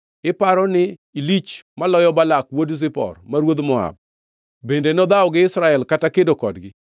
Iparo ni ilich maloyo Balak wuod Zipor, ma ruodh Moab? Bende nodhawo gi Israel kata kedo kodgi?